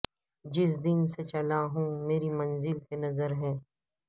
جس دن سے چلا ہوں میری منزل پہ نظر ہے